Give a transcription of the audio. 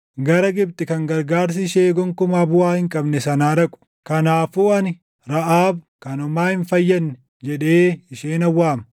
gara Gibxi kan gargaarsi ishee gonkumaa buʼaa hin qabne sanaa dhaqu. Kanaafuu ani, “Raʼaab, kan homaa hin fayyadne” jedhee ishee nan waama.